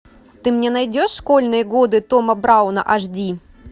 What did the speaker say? ты мне найдешь школьные годы тома брауна аш ди